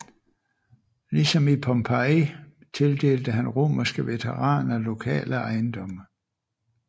Ligesom i Pompeji tildelte han romerske veteraner lokale ejendomme